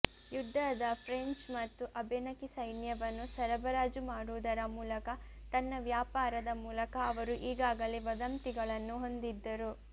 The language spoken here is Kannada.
ಯುದ್ಧದ ಫ್ರೆಂಚ್ ಮತ್ತು ಅಬೆನಕಿ ಸೈನ್ಯವನ್ನು ಸರಬರಾಜು ಮಾಡುವುದರ ಮೂಲಕ ತನ್ನ ವ್ಯಾಪಾರದ ಮೂಲಕ ಅವರು ಈಗಾಗಲೇ ವದಂತಿಗಳನ್ನು ಹೊಂದಿದ್ದರು